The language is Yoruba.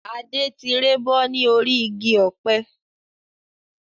Adé tí rébọ́ ni orí igi ọ̀pẹ